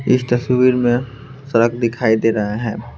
इस तस्वीर में सड़क दिखाई दे रहा हैं।